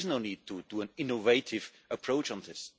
There is no need for an innovative approach on this.